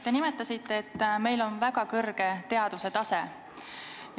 Te nimetasite, et meil on väga kõrge teaduse tase.